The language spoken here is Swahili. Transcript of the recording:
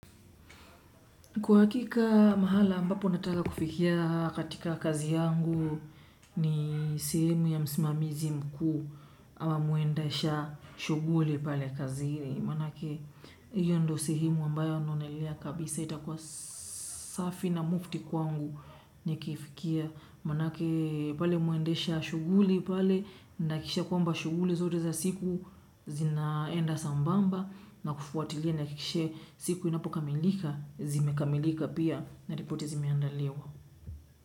Kwa hakika mahala ambapo nataka kufikia katika kazi yangu ni sehemu ya msimamizi mkuu. Ama mwendesha shuguli pale kazini. Manake hiyo ndo sehemu ambayo naonelia kabisa itakuwa safi na mufti kwangu nikifikia. Manake pale mwendesha shuguli pale naakikisha kwamba shuguli zote za siku zinaenda sambamba na kufuatilia niakikishe siku inapokamilika, zimekamilika pia na ripoti zimeandaliwa.